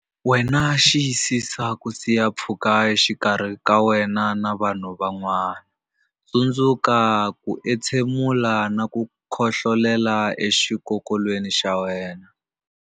Wena Xiyisisa ku siya pfhuka exikarhi ka wena na vanhu van'wana Tsundzuka ku entshemula na ku khohlolela exikokolweni xa wena.